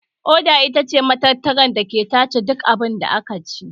Ƙoda itace matatar dake tace duk abunda akaci